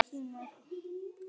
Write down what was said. En þetta var ekki búið.